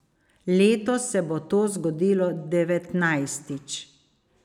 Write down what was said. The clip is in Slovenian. Letos se bo to zgodilo devetnajstič.